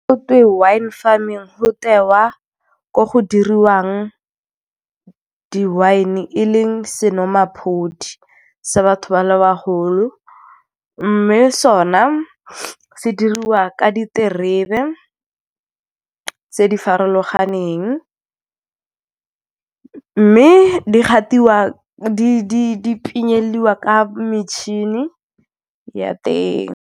Go twe wine farming tewa ko go diriwang di-wine-e e leng senwamaphodi sa batho ba le bagolo. Mme so na se diriwa wa ka diterebe tse di farologaneng mme di pinyeliwa ka metšhini ya teng.